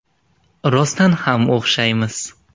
Rostdan ham o‘xshaymiz.